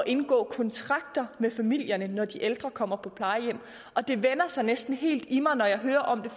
indgå kontrakter med familierne når de ældre kommer på plejehjem og det vender sig næsten helt i mig når jeg hører om